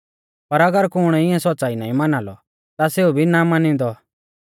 पर अगर कुण इऐं सौच़्च़ाई नाईं माना लौ ता सेऊ भी ना मानिदौं